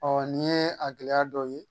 nin ye a gɛlɛya dɔw ye